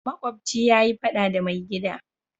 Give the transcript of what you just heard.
Makobci ya yi fada da mai gida.